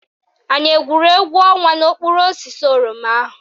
Anyị egwuru égwú ọnwa n'okpuru osisi oroma ahụ?